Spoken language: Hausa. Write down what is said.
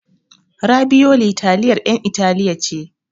Rabiyoli taliyar 'yan Italiya ce.